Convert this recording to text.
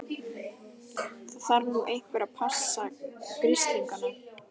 Það þarf nú einhver að passa grislingana.